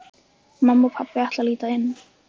Mamma og pabbi ætla að líta inn.